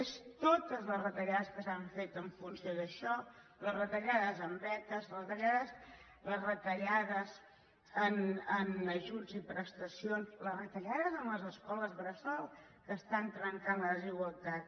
són totes les retallades que s’han fet en funció d’això les retallades en beques les retallades en ajuts i prestacions les retallades en les escoles bressol que trenquen la desigualtat